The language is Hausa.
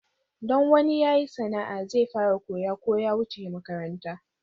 Don wani ya yi sana'a zai fara koya ko ya wuce makaranta.